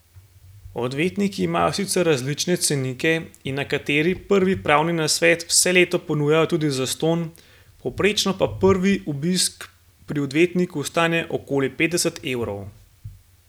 Odvetniki imajo sicer različne cenike in nekateri prvi pravni nasvet vse leto ponujajo tudi zastonj, povprečno pa prvi obisk pri odvetniku stane okoli petdeset evrov.